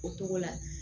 O togo la